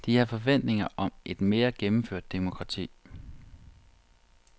De har forventninger om et mere gennemført demokrati.